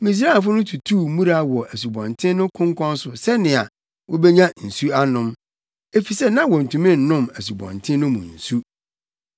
Misraimfo no tutuu mmura wɔ asubɔnten no konkɔn so sɛnea wobenya nsu anom, efisɛ na wontumi nnom asubɔnten no mu nsu.